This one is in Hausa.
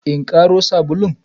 In karo sabulun?